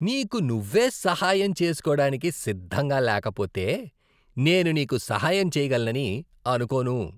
నీకు నువ్వే సహాయం చేసుకోడానికి సిద్ధంగా లేకపోతే నేను నీకు సహాయం చేయగలనని అనుకోను.